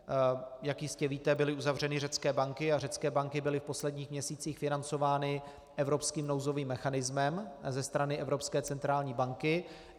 Jak jistě víte, byly uzavřeny řecké banky a řecké banky byly v posledních měsících financovány evropským nouzovým mechanismem ze strany Evropské centrální banky.